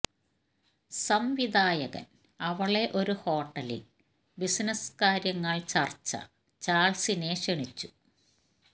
സംവിധായകൻ അവളെ ഒരു ഹോട്ടലിൽ ബിസിനസ് കാര്യങ്ങൾ ചർച്ച ചാൾസിനെ ക്ഷണിച്ചു